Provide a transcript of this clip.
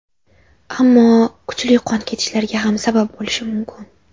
Ammo kuchli qon ketishlarga ham sabab bo‘lishi mumkin.